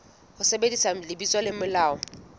ho sebedisa lebitso le molaong